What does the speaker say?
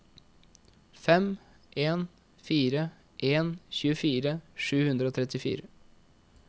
fem en fire en tjuefire sju hundre og trettifire